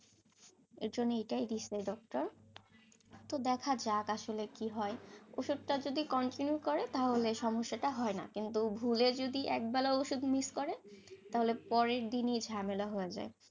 এই জন্য এটাই দিয়েছে doctor তো দেখা যাক আসলে কি হয়, ওষুধটা যদি continue করে তাহলে সমস্যাটা হয় না, কিন্তু ভুলে যদি একবেলা ওষুধ miss করে তাহলে পরের দিনই ঝামেলা হয়ে যায়,